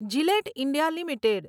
Gillette India limited